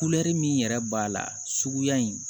min yɛrɛ b'a la suguya in